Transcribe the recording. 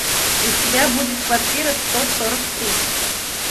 у тебя будет квартира сто сорок три